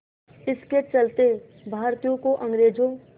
इसके चलते भारतीयों को अंग्रेज़ों